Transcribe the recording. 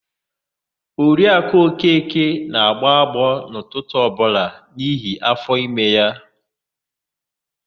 Oriakụ Okeke na-agbọ agbọọ n'ụtụtụ ọbụla n'ihi áfọ̀ime.